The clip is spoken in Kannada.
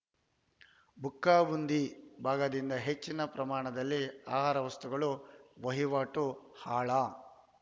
ಬುಕ್ಕಾಂಬುದಿ ಭಾಗದಿಂದ ಹೆಚ್ಚಿನ ಪ್ರಮಾಣದಲ್ಲಿ ಆಹಾರ ವಸ್ತುಗಳು ವಹಿವಾಟು ಆಳ